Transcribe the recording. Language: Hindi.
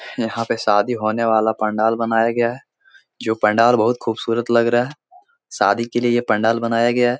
यहाँ पे शादी होने वाला पंडाल बनाया गया है जो पंडाल बहोत खूबसूरत लग रहा है शादी के लिए ये पंडाल बनाया गया है।